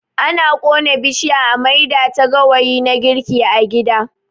Ana ƙona bishiya a maida ta gawayi na girki a gida.